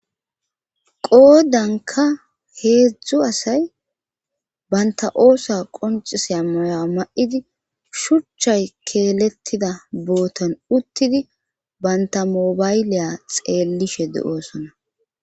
Qoodanka heedzdzu asay banta oosa qonciseya moya ma7idi shuchchay keelettida bootan uttidi bantamobayliya xeellishe de7oosona